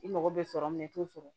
I mago bɛ sɔrɔ min na i t'o sɔrɔ